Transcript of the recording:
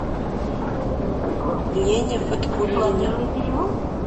лене фаткуллине